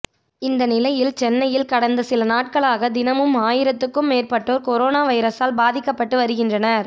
இந்த நிலையில் சென்னையில் கடந்த சில நாட்களாக தினமும் ஆயிரத்துக்கும் மேற்பட்டோர் கொரோனா வைரசால் பாதிக்கப்பட்டு வருகின்றனர்